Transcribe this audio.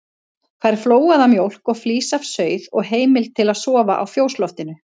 Fær flóaða mjólk og flís af sauð og heimild til að sofa á fjósloftinu.